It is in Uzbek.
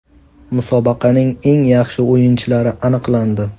Musobaqaning eng yaxshi o‘yinchilari aniqlandi.